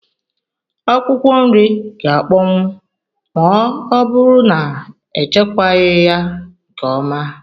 Akwụkwọ nri gá akpọnwu ma ọ bụrụ na echekwaghi ya nke ọma